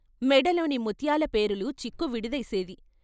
మెడలోని ముత్యాల పేరులు చిక్కు విడదీసేవి.